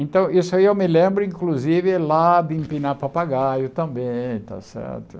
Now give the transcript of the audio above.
Então, isso aí eu me lembro, inclusive, lá de empinar papagaio também, está certo?